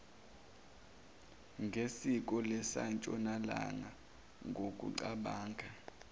ngesiko lasentshonalanga ngokucabanga